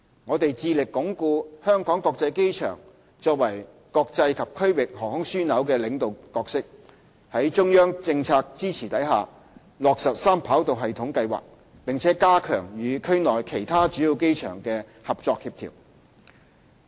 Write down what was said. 我們致力鞏固香港國際機場作為國際及區域航空樞紐的領導角色，在中央政策支持下落實三跑道系統計劃，並加強與區內其他主要機場的合作協調。